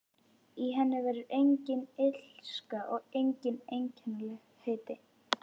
Í henni verður engin illska og engin einkennilegheit.